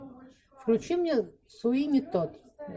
включи мне суини тодд